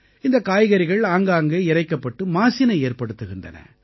இந்தக் காய்கறிகள் ஆங்காங்கே இரைக்கப்பட்டு மாசினை ஏற்படுத்துகின்றன